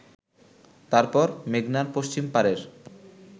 তারপর মেঘনার পশ্চিম পারের